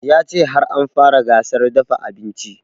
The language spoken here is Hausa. Ya ce har an fara gasar dafa abinci